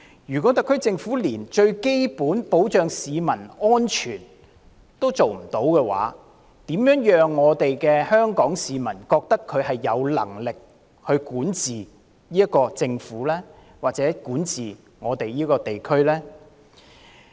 如果特區政府連最基本的保障市民安全的工作也做得不好，香港市民如何會認同特區政府有能力管治這個地區呢？